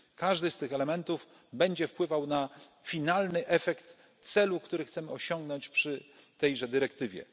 Każdy z tych elementów będzie wpływał na finalny efekt celu, który chcemy osiągnąć przy tejże dyrektywie.